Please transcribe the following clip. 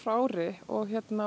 ári og